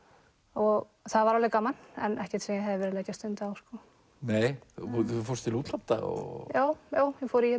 og það var alveg gaman en ekkert sem ég hefði viljað leggja stund á sko þú fórst til útlanda og já já ég fór í